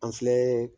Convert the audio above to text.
An filɛ